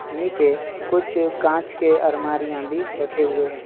नीचे कुछ कांच के अल्मारियां भी रखे हुए हैं।